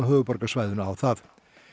höfuðborgarsvæðinu á það